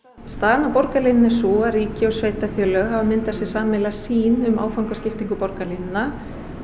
staðan á borgarlínunni er sú að ríki og sveitarfélög hafa myndað sér sameiginlega sýn um áfangaskiptingu borgarlínunnar